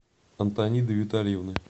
антониды витальевны